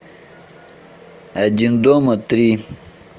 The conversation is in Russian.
один дома три